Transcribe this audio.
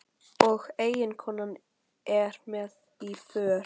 Og eiginkonan er með í för.